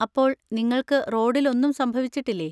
അപ്പോൾ നിങ്ങൾക്ക് റോഡിൽ ഒന്നും സംഭവിച്ചിട്ടില്ലേ?